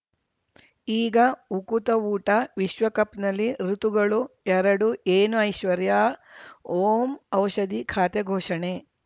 ಈಗ ಉಕುತ ಊಟ ವಿಶ್ವಕಪ್‌ನಲ್ಲಿ ಋತುಗಳು ಎರಡು ಏನು ಐಶ್ವರ್ಯಾ ಓಂ ಔಷಧಿ ಖಾತೆ ಘೋಷಣೆ